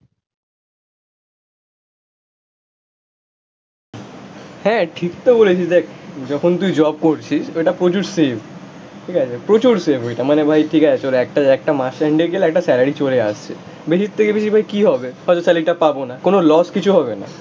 হ্যাঁ ঠিক তো বলেছিস দেখ যখন তুই জব করছিস ওইটা প্রচুর সেভ, ঠিক আছে প্রচুর সেভ ওইটা, মানে ভাই ঠিক আছে চলো একটা একটা মাস এন্ডে গেলে একটা স্যালারি চলে আসছে, বেশির থেকে বেশি ভাই কি হবে? হয়তো স্যালারিটা পাবো না, কোনো লস কিছু হবে না